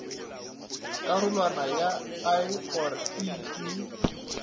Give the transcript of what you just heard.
karolwaneng ya i or ii